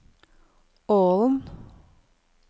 Ålen